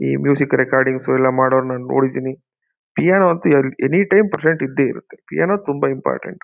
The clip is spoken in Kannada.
ಈ ಮ್ಯೂಸಿಕ್ ರೆಕಾರ್ಡಿಂಗ್ಸ್ ಎಲ್ಲ ಮಾಡೋವ್ರೆಲ್ಲನು ನೋಡಿದ್ದೀನಿ ಪಿಯಾನೋ ಅಂತೂ ಎನಿ ಟೈಮ್ ಪ್ರೆಸೆಂಟ್ ಇದ್ದೆ ಇರುತ್ತೆ ಪಿಯಾನೋ ತುಂಬಾ ಇಂಪಾರ್ಟೆಂಟ್ .